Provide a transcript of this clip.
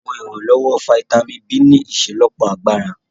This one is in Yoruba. Àwọn ìrànlọ́wọ́ fítámìnì B ní ìṣelọ́pọ̀ agbára